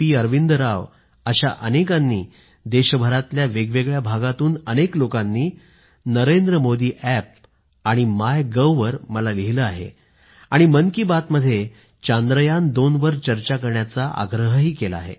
अरविंद राव अशा अनेकांनी देशभरातल्या वेगवेगळ्या भागातून अनेक लोकांनी मला नरेंद्र मोदी अॅप आणि माय गव्हवर लिहिलं आहे आणि मन की बातमध्ये चांद्रयान2 वर चर्चा करण्याचा आग्रह केला आहे